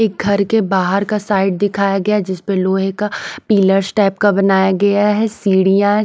एक घर के बाहर का साइड दिखाया गया जिस पर लोहे का पीलर्स टाइप का बनाया गया है सीढ़ियां हैं।